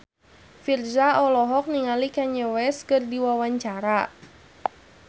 Virzha olohok ningali Kanye West keur diwawancara